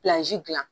dilan